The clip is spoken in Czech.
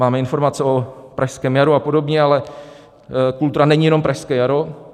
Máme informace o Pražském jaru a podobně, ale kultura není jenom Pražské jaro.